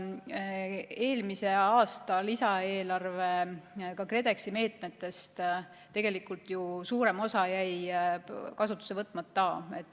Eelmise aasta lisaeelarve, ka KredExi meetmetest tegelikult ju suurem osa jäi kasutusse võtmata.